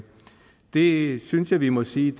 det synes jeg vi må sige